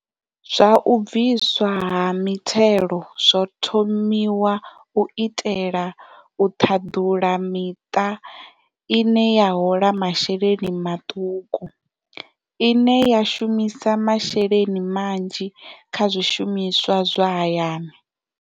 Zwa u bviswa ha mithelo zwo thomiwa u itela u ṱhaḓula miṱa ine ya hola masheleni maṱuku, ine ya shumisa masheleni manzhi kha zwi shumiswa zwa hayani.